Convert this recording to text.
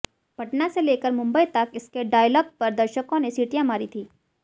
पटना से लेकर मुंबई तक इसके डॉयलग पर दर्शकों ने सीटियां मारी थी